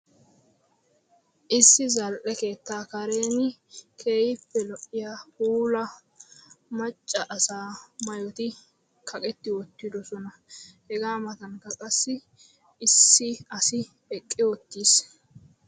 Issi zal"e keettaa karen keehippe lo"iya puula macca asaa maayoti kaqeti uttidoosona. Hega matankka qassi issi asi eqqi uttiis.